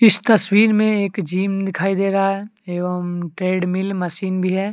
तस्वीर में एक जिम दिखाई दे रहा है एवं ट्रेडमिल मशीन भी है।